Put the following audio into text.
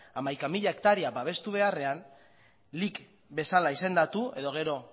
hamaika mila hektarea babestu beharrean lic bezala izendatu edo gero